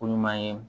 Ko ɲuman ye